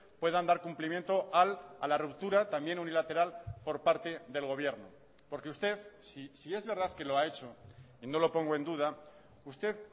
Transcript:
puedan dar cumplimiento a la ruptura también unilateral por parte del gobierno porque usted si es verdad que lo ha hecho y no lo pongo en duda usted